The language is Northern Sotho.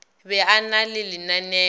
be a na le lenao